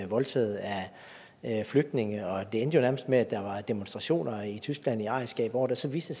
voldtaget af flygtninge det endte jo nærmest med at der var demonstrationer i tyskland i arrigskab over det så viste